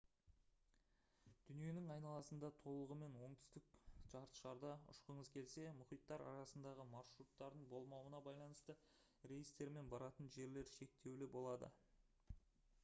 дүниенің айналасында толығымен оңтүстік жартышарда ұшқыңыз келсе мұхиттар арасындағы маршруттардың болмауына байланысты рейстер мен баратын жерлер шектеулі болады